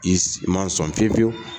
I ma sɔn fiye fiyewu.